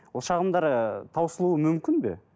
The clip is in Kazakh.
ол шағымдар ыыы таусылуы мүмкін бе